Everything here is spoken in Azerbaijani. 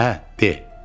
Hə, de.